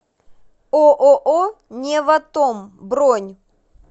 ооо неватом бронь